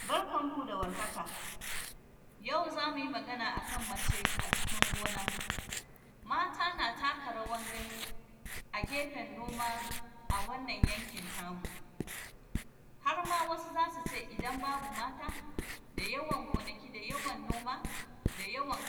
Barkan ku da warhaka, yau za mu yi magana a kan mace a cikin gona. Mata na taka rawan gani a gefen noma, a wannan yankin tamu. Har ma wasu za su ce, idan babu mata, da yawan gonaki da yawan noma, da yawan